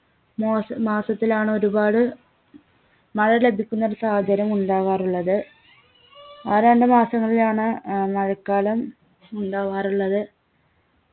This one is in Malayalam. മാസ മാസത്തിലാണ് ഒരുപാട് മഴ ലഭിക്കുന്നൊരു സാഹചര്യം ഉണ്ടാവാറുള്ളത് ആ രണ്ടു മാസങ്ങളിലാണ് ഏർ മഴക്കാലം ഉണ്ടാവാറുള്ളത്